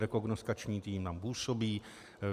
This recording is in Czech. Rekognoskační tým tam působí.